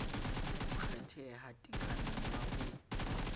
ho kgetheha tekanyo ya ho